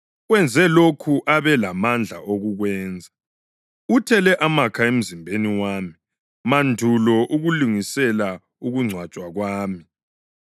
Wenze lokho abe lamandla okukwenza. Uthele amakha emzimbeni wami mandulo ukulungisela ukungcwatshwa kwami.